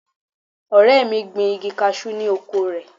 Ọ̀rẹ́ mi gbin igi cashew ni oko rẹ̀.